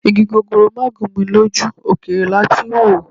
Igi gogoro máà gún mi lójú, òkèèrè lati ń wòó